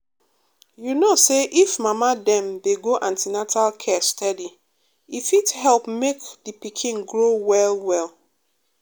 you know say if mama dem dey go an ten atal care steady e fit help make the pikin grow well well.